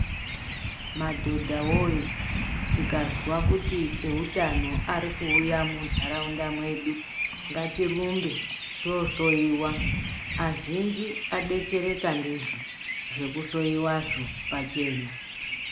Madhodha voye tikazwa kuti veutano varikuuya munharaunda mwedu. Ngatirumbe tohloiwa azhinji adetsereka ndizvo zvekuhloiwazvo pachena.